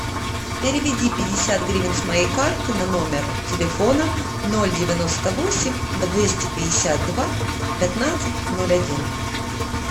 переведи пятьдесят гривен с моей карты на номер телефона ноль девяносто восемь двести пятьдесят два пятнадцать ноль один